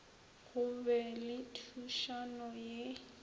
go be le thušano ye